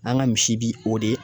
An ka misi bi o de